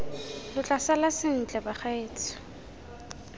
lo tla sala sentle bagaetsho